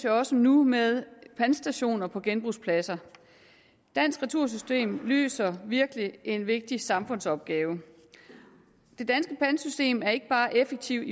også nu med pantstationer på genbrugspladser dansk retursystem løser virkelig en vigtig samfundsopgave det danske pantsystem er ikke bare effektivt